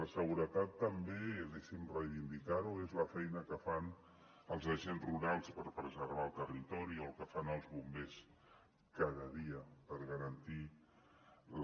la seguretat també deixi’m reivindicar ho és la feina que fan els agents rurals per preservar el territori o el que fan els bombers cada dia per garantir la